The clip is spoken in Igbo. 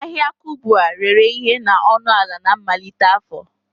Ahịa Kubwa rere ihe na ọnụ ala na mmalite afọ